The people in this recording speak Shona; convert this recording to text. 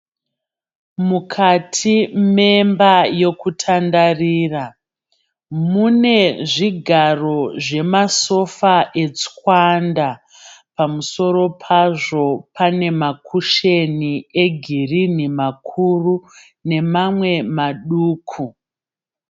Mukati memba yokutandarira. Mune zvigaro zvemasofa etswanda. Pamusoro pazvo pane makusheni egirinhi makuru nemamwe maduku.